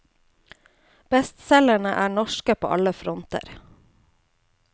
Bestselgerne er norske på alle fronter.